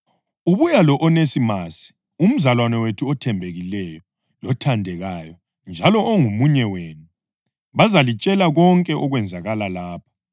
Ubuya lo-Onesimasi, umzalwane wethu othembekileyo lothandekayo njalo ongomunye wenu. Bazalitshela konke okwenzakala lapha.